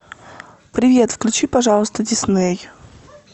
привет включи пожалуйста дисней